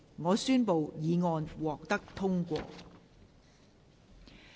我宣布議案獲得通過。